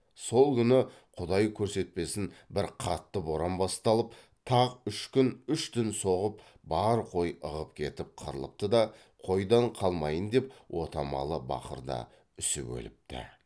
сол күні құдай көрсетпесін бір қатты боран басталып тақ үш күн үш түн соғып бар қой ығып кетіп қырылыпты да қойдан қалмайын деп отамалы бақыр да үсіп өліпті